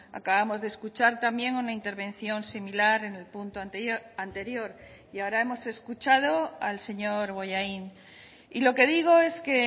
acabamos de escuchar también una intervención similar en el punto anterior y ahora hemos escuchado al señor bollain y lo que digo es que